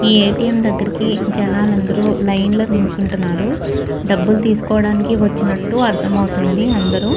ఈ ఏ.టీ.ఎం. దగ్గరికి జనాలు అందరూ లైన్లో నుంచుంటున్నారు డబ్బులు తీసుకోవడానికి వచ్చినట్టు అర్ధమవుతుంది అందరు.